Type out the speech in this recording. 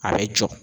A bɛ jɔ